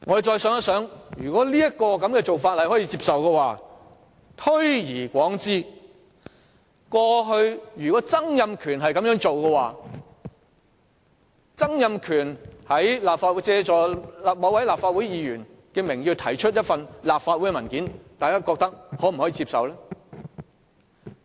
再想想，如果這種做法可以接受的話，如此推論，如果前特首曾蔭權同樣借某位議員的名義提交立法會文件，大家又會否接受？